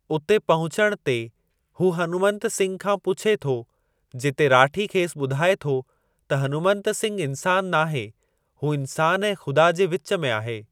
उते पहुचण ते हू हनुमंत सिंघ खां पुछे थो जिते राठी खेसि ॿुधाए थो त हनुमंत सिंघ इन्सानु नाहे हू इन्सान ऐं ख़ुदा जे विच में आहे।